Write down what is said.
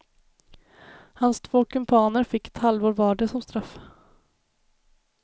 Hans två kumpaner fick ett halvår vardera som straff.